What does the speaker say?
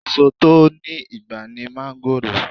Èsò tó ní ìgbà ní máńgòrò